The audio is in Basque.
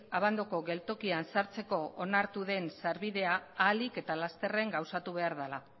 abandoko geltokian sartzeko onartu den sarbidea ahalik eta lasterren gauzatu behar dela